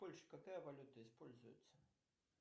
в польше какая валюта используется